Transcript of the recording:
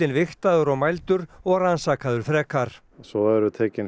vigtaður og mældur og rannsakaður frekar svo eru tekin